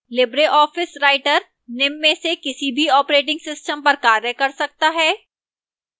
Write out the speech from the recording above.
libreoffice writer निम्न में से किसी भी operating systems पर कार्य कर सकता है: